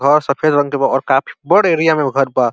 घर सफेद रंग के बा और काफी बड़ एरिया में घर बा।